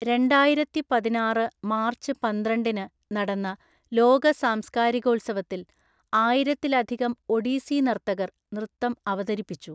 രണ്ടായിരത്തിപതിനാറ് March പന്ത്രണ്ടിന് നടന്ന ലോക സംസ്കാരികോത്സവത്തില്‍ ആയിരത്തിലധികം ഒഡീസി നർത്തകർ നൃത്തം അവതരിപ്പിച്ചു.